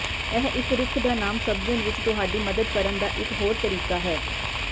ਇਹ ਇੱਕ ਰੁੱਖ ਦਾ ਨਾਮ ਸਮਝਣ ਵਿੱਚ ਤੁਹਾਡੀ ਮਦਦ ਕਰਨ ਦਾ ਇਕ ਹੋਰ ਤਰੀਕਾ ਹੈ